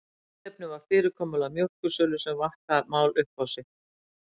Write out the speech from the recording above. Tilefnið var fyrirkomulag mjólkursölu en svo vatt það mál upp á sig.